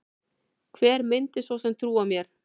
Hver myndi svo sem trúa mér?